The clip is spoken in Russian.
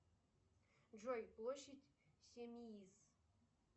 джой площадь симеиз